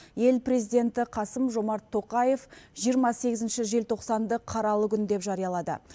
ел президенті қасым жомарт тоқаев жиырма сегізінші желтоқсанды қаралы күн деп жариялады